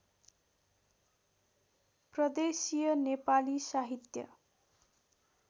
प्रदेशीय नेपाली साहित्य